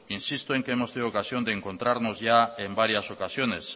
insisto en que hemos tenido ocasión de encontrarnos ya en varias ocasiones